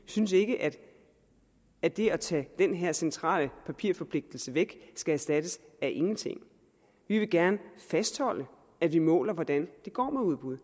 synes ikke at at det at tage den her centrale papirforpligtelse væk skal erstattes af ingenting vi vil gerne fastholde at vi måler hvordan det går med udbud